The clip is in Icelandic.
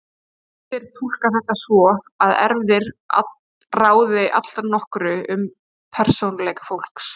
Flestir túlka þetta sem svo að erfðir ráði allnokkru um persónuleika fólks.